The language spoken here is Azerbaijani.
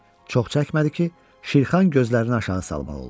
Çox çəkmədi ki, Şirxan gözlərini aşağı salmaq oldu.